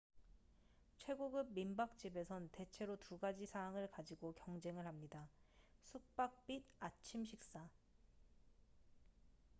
최고급 민박집에선 대체로 두가지 사항을 가지고 경쟁을 합니다 숙박 및 아침식사